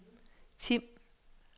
Tim